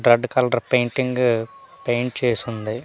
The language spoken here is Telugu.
రెడ్ కలర్ పెయింటింగ్ పెయింట్ చేసుంది .